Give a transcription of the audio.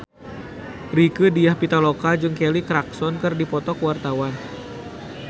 Rieke Diah Pitaloka jeung Kelly Clarkson keur dipoto ku wartawan